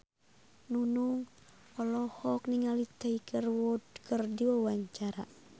Nunung olohok ningali Tiger Wood keur diwawancara